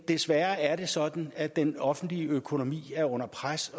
desværre sådan at den offentlige økonomi er under pres